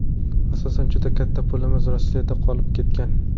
Asosan juda katta pulimiz Rossiyada qolib ketgan.